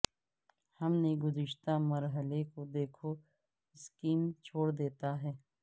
ہم نے گزشتہ مرحلے کو دیکھو سکیم چھوڑ دیتا ہے